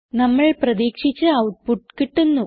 നമ്മൾ പ്രതീക്ഷിച്ച ഔട്ട്പുട്ട് കിട്ടുന്നു